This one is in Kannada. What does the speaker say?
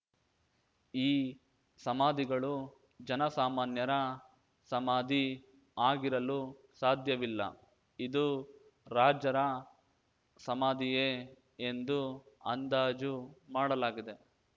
ಈ ಸಮಾಧಿಗಳು ಜನ ಸಾಮಾನ್ಯರ ಸಮಾಧಿ ಆಗಿರಲು ಸಾಧ್ಯವಿಲ್ಲ ಇದು ರಾಜರ ಸಮಾಧಿಯೇ ಎಂದು ಅಂದಾಜು ಮಾಡಲಾಗಿದೆ